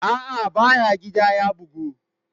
A'a, ba ya gida ya bugu.